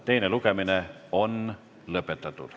Teine lugemine on lõpetatud.